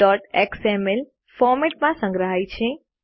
keyboardએક્સએમએલ ફોરમેટમાં સંગ્રહાય છે